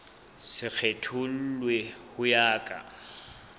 se kgethollwe ho ya ka